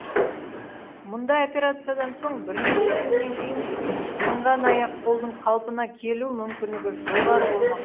мұндай операциядан соң бірнеше күннен кейін сынған аяқ қолдың қалпына келу мүмкіндігі жоғары болмақ